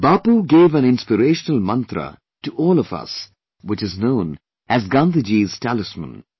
Bapu gave an inspirational mantra to all of us which is known as Gandhiji's Talisman